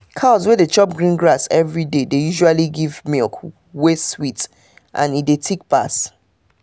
cows wey dey chop green grass every day dey usually give milk wey sweet and e de thick pass